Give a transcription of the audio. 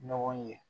Ɲɔgɔn ye